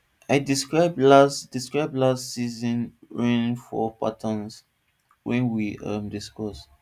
i describe last describe last season rainfall pattern wen we um discuss